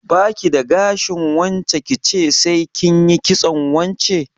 Ba ki da gashin wance ki ce sai kin yi kitson wance?